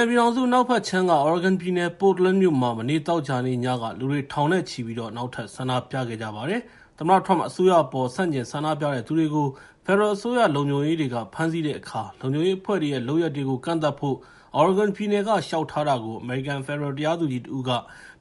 န်ပြည်ထောင်စု အနောက်ဘက်ခြမ်းက Oregon ပြည်နယ် Portland မြို့မှာ မနေ့ သောကြာနေ့ညက လူတွေ ထောင်နဲ့ချီပြီး နောက်ထပ် ဆန္ဒပြခဲ့ကြပါတယ်။ သမ္မတ Trump အစိုးရအပေါ် ဆန့်ကျင်ဆန္ဒပြသူတွေကို ဖက်ဒရယ် အစိုးရလုံခြုံရေးတွေက ဖမ်းဆီးတဲ့အခါ လုံခြုံရေးအဖွဲ့တွေရဲ့ လုပ်ရပ်တွေကို ကန့်သတ်ဖို့ Oregon ပြည်နယ်က လျှောက်ထားတာကို အမေရိကန် ဖက်ဒရယ်တရားသူကြီးတဦးက